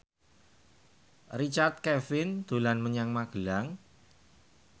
Richard Kevin dolan menyang Magelang